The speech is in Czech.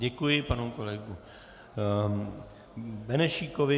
Děkuji panu kolegovi Benešíkovi.